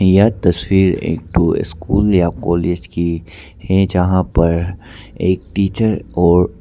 यह तस्वीर एक ठो स्कूल या कॉलेज की है जहां पर एक टीचर और--